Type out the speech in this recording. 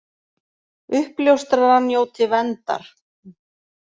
Uppljóstrarar njóti verndar